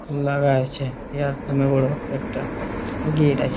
আর লাগা আছে একদমই বড় একটা গেট আছ--